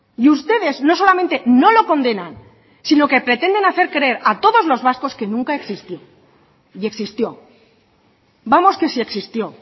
y ustedes no solamente no lo condenan sino que pretenden hacer creer a todos los vascos que nunca existió y existió vamos que si existió